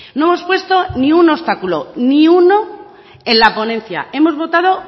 no hemos puesto ni un obstáculo ni uno en la ponencia hemos votado